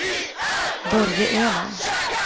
Börje Öhman